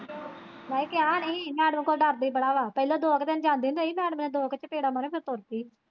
ਮੈਂ ਕਿਹਾ ਨੀ ਹੀ ਕੀ ਮੈਡਮ ਤੋਂ ਡਰਦੀ ਬੜਾ ਵਾਂ ਪਹਿਲਾਂ ਦੋ ਕ ਦਿਨ ਜਾਂਦੀ ਹੁੰਦੀ ਨਾ ਮੈਡਮ ਨੇ ਦੋ ਕ ਚਪੇੜਾਂ ਮਾਰੀਆਂ ਫਿਰ ਤੁਰਪੀ।